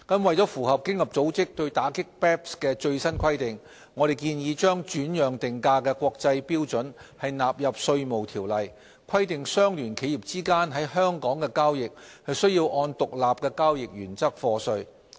為符合經合組織對打擊 BEPS 的最新規定，我們建議將轉讓定價的國際標準納入《稅務條例》，規定相聯企業之間在香港的交易須按獨立交易原則課稅。